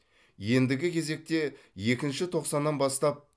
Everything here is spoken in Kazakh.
ендігі кезекте екінші тоқсаннан бастап